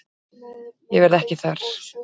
Ég verð ekki þar.